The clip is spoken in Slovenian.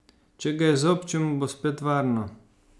Če ga izobčimo, bo spet varno.